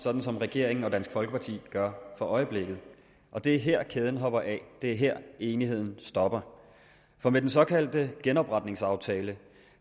sådan som regeringen og dansk folkeparti gør for øjeblikket og det er her kæden hopper af det er her enigheden stopper for med den såkaldte genopretningsaftale